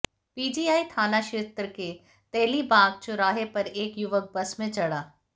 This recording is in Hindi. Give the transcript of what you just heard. पीजीआई थानाक्षेत्र के तेलीबाग चौराहे पर एक युवक बस में चढ़ा